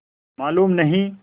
मालूम नहीं